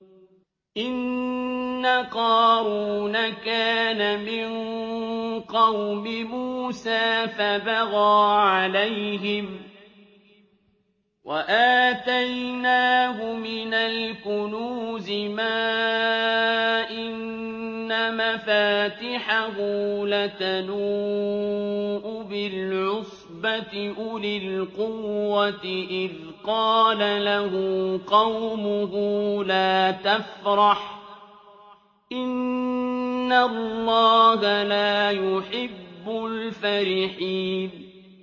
۞ إِنَّ قَارُونَ كَانَ مِن قَوْمِ مُوسَىٰ فَبَغَىٰ عَلَيْهِمْ ۖ وَآتَيْنَاهُ مِنَ الْكُنُوزِ مَا إِنَّ مَفَاتِحَهُ لَتَنُوءُ بِالْعُصْبَةِ أُولِي الْقُوَّةِ إِذْ قَالَ لَهُ قَوْمُهُ لَا تَفْرَحْ ۖ إِنَّ اللَّهَ لَا يُحِبُّ الْفَرِحِينَ